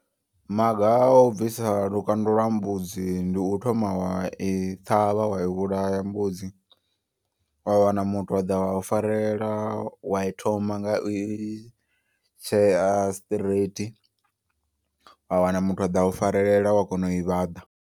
Maga a u bvisa lukanda lwa mbudzi ndi u thoma wa i ṱhavha wa i vhulaya mbudzi. Wa wana muthu a ḓa wa u farela wa i thoma nga i tshea straight. Wa wana muthu a ḓa u farelela wa kona u i vhaḓa.